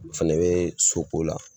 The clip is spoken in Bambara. O fɛnɛ be soko la